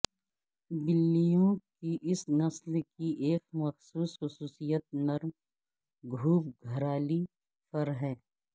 بلیوں کی اس نسل کی ایک مخصوص خصوصیت نرم گھوبگھرالی فر ہے